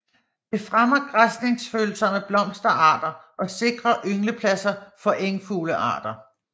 Det fremmer græsningsfølsomme blomsterarter og sikrer ynglepladser for engfuglearter